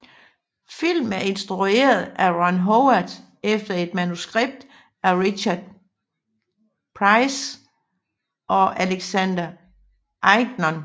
Filmen er instrueret af Ron Howard efter et manuskript af Richard Price og Alexander Ignon